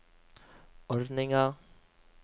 ordninga